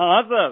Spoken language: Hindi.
हाँ हाँ सर